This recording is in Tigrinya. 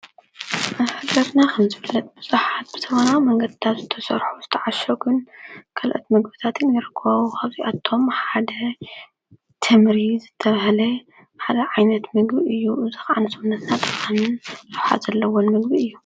ኣፈገርና ኽምፂ ፍለጥ ብዙሓት ብተበና መንገታቱ ተሠርሑ ዝተዓሸጉን ከልኦት ምግብታትንይረክዊ ኸብዚ ኣቶም ሓደ ቴምሪ ዘተብሃለ ሓደ ዓይነት ምግቢ እዩ እዙኽ ዓንሶምንና ጠዓንን ልሓ ዘለዎን ምግቢ እዩ።